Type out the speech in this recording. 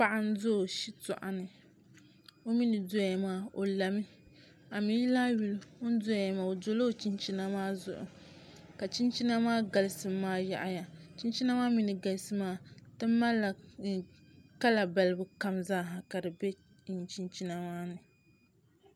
Paɣa n do o shitoɣu ni o mii ni doya maa o lami a mii ni lahi yuli oni doya maa o dola o chinchina maa zuɣu ka chinchina maa galisim maa yaɣaya chinchina maa mii ni galisi maa ti malila kala balibu kam zaaha ka di bɛ chinchina maa ni